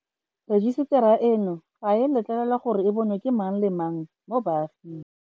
Rejisetara eno ga e a letlelelwa gore e bonwe ke mang le mang mo baaging.